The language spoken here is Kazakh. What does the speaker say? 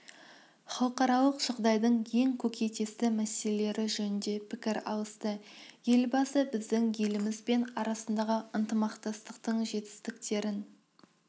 халықаралық жағдайдың ең көкейкесті мәселелері жөнінде пікір алысты елбасы біздің еліміз бен арасындағы ынтымақтастықтың жетістіктерін